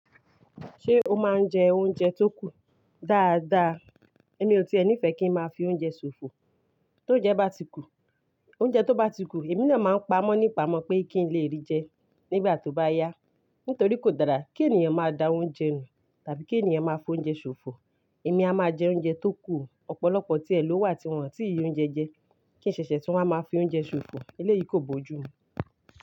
Ṣé o máa ń jẹ oúnjẹ tó kù dáadáa? Èmi ò tí è nífẹ́ kí n máa fi oúnjẹ ṣòfò. Tónjẹ bá ti kù, oúnjẹ tó bá ti kù, èmi náà máa ń pamọ́ nípamọ̀ pé kí n lè rí jẹ nígbà tó bá yá. Nítorí kò dára kí ènìyàn máa da oúnjẹ nù tàbí kí ènìyàn máa fo oúnjẹ ṣòfò. Èmi a máa jẹ oúnjẹ tó kù o, ọ̀pọ̀lọpọ̀ tí ẹ ló wà tí wọ́n ò tí ì rí oúnjẹ jẹ, kí n ṣẹ̀ṣẹ̀ tú wọn máa fi oúnjẹ ṣòfò. Eléyìí kò bójú mu.